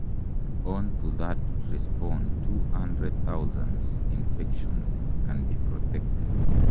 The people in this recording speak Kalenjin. On to that respond two hunred thousands infections can be protected.